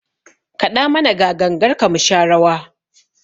Kaɗa mana ga gangarka mu sha rawa!